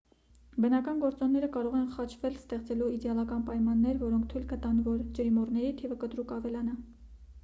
բնական գործոնները կարող են խաչվել ստեղծելու իդեալական պայմաններ որոնք թույլ կտան որ ջրիմուռների թիվը կտրուկ ավելանա